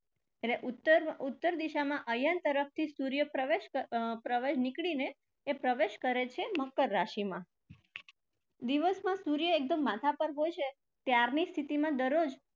એટલે ઉત્તર, ઉત્તર દિશામાં અયન તરફથી સૂર્ય પ્રવેશ અર નીકળીને એ પ્રવેશ કરે છે મકર રાશિમાં. દિવસમાં સૂર્ય એકદમ માથા પર હોય છે ત્યારની સ્થિતિમાં દરરોજ